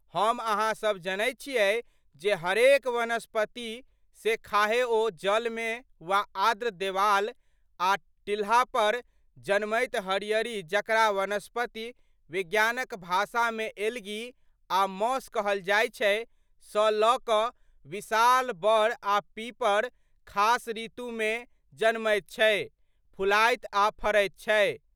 हम अहाँ सभ जनैत छिऐ जे हरेक वनस्पति से खाहे ओ जलमे वा आर्द्र देवाल आ टिल्हापर जनमैत हरियरी जकरा वनस्पति विज्ञानक भाषामे एल्गी आ मॉस कहल जाइत छै, सँ लड कऽ विशाल बड़ आ पीपड़ खास ऋतुमे जनमैत छै, फुलाइत आ फड़ैत छै।